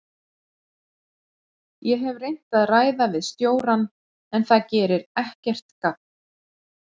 Ég hef reynt að ræða við stjórann en það gerir ekkert gagn.